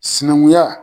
Sinankunya